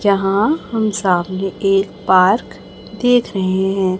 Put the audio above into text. जहां हम सामने एक पार्क देख रहे हैं।